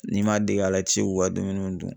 N'i ma dege a la , i tɛ se k'u ka dumuniw dun.